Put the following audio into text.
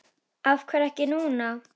Af hverju ekki núna?